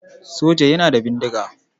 Soja yana da bindiga.